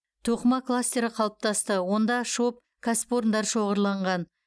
тоқыма кластері қалыптасты онда шоб кәсіпорындары шоғырланған